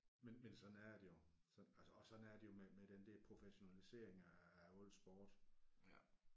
Men men sådan er det jo så altså og sådan er det jo med med den der professionalisering af af al sport